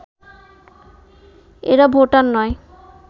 এরা ভোটার নয়